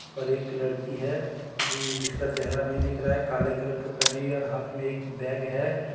पर एक लड़की है जी-जिसका चेहरा नहीं दिख रहा है काले कलर का पहनी हुई है और हाथ में एक बेग है.